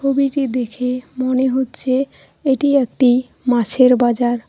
ছবিটি দেখে মনে হচ্ছে এটি একটি মাছের বাজার।